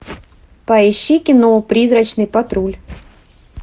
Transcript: поищи кино призрачный патруль